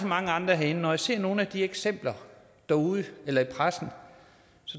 mange andre herinde når jeg ser nogle af de eksempler derude eller i pressen